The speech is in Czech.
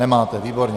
Nemáte, výborně.